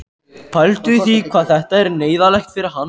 Pældu í því hvað þetta er neyðarlegt fyrir hann!